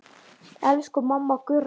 Elsku mamma Gurra.